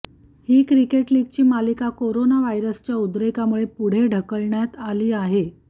ही cricket लीगची मालिका कोरोनाव्हायरसच्या उद्रेकामुळे पुढे ढकलण्यात आली आहे